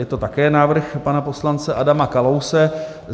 Je to také návrh pana poslance Adama Kalouse.